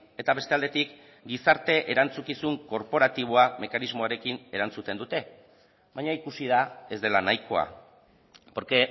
eta beste aldetik gizarte erantzukizun korporatiboa mekanismoarekin erantzuten dute baina ikusi da ez dela nahikoa porque